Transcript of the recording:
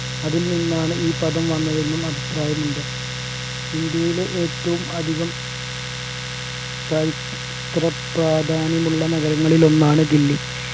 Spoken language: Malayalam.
അതിൽ നിന്നാണ് ഈ പദം വന്നതെന്നും അഭിപ്രായമുണ്ട് ഇന്ത്യയിലെ ഏറ്റവുമധികം ചരിത്രപ്രാധാന്യമുള്ള നഗരങ്ങളിൽ ഒന്നാണ് ദില്ലി